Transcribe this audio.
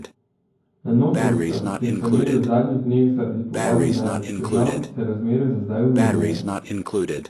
Na Notranjskem, kjer so imeli v zadnjih dneh zaradi povodnji največ težav, se razmere za zdaj umirjajo.